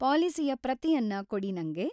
ಪಾಲಿಸಿಯ ಪ್ರತಿಯನ್ನ ಕೊಡಿ ನಂಗೆ.